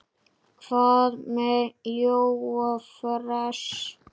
Hvað með Jóa fress?